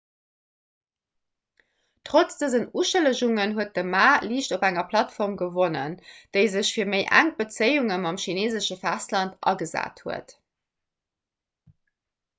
trotz dësen uschëllegungen huet de ma liicht op enger plattform gewonnen déi sech fir méi enk bezéiunge mam chineesesche festland agesat huet